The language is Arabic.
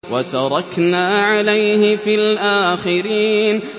وَتَرَكْنَا عَلَيْهِ فِي الْآخِرِينَ